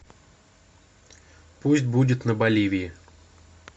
пусть будет на боливии